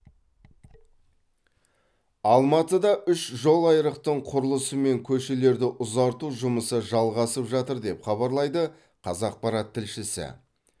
алматыда үш жолайрықтың құрылысы мен көшелерді ұзарту жұмысы жалғасып жатыр деп хабарлайды қазақпарат тілшісі